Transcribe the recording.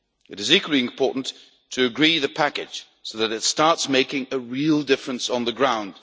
It is equally important to agree the package so that it starts making a real difference on the ground.